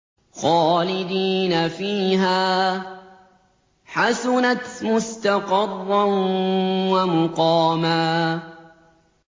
خَالِدِينَ فِيهَا ۚ حَسُنَتْ مُسْتَقَرًّا وَمُقَامًا